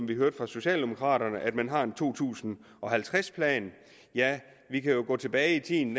vi hørte fra socialdemokraterne at man har en to tusind og halvtreds plan ja vi kan gå tilbage i tiden